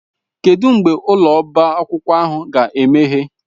Kedụ mgbe ụlọ ọbá akwụkwọ ahụ ga-emeghe?